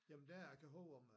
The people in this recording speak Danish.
Jamen der kan huske mig